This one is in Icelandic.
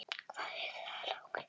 Hvað er það, lagsi?